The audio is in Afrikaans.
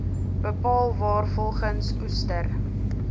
bepaal waarvolgens oester